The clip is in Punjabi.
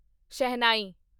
ਸ਼ਹਿਨਾਈ